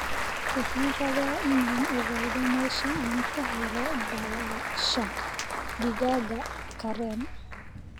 Waxaan rabaa inaan ogaado meesha aan ka helo baalasha digaaga karen